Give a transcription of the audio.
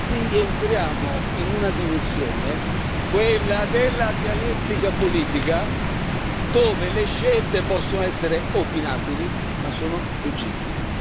Quindi entriamo in una dimensione, quella della dialettica politica, dove le scelte possono essere opinabili, ma sono legittime.